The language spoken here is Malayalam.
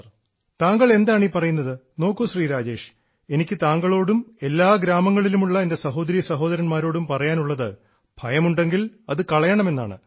അയ്യോ താങ്കൾ എന്താണീ പറയുന്നത് നോക്കൂ ശ്രീ രാജേഷ് എനിക്ക് താങ്കളോടും എല്ലാ ഗ്രാമങ്ങളിലുമുള്ള എൻറെ സഹോദരീ സഹോദരന്മാരോടും പറയാനുള്ളത് ഭയമുണ്ടെങ്കിൽ അത് കളയണമെന്നാണ്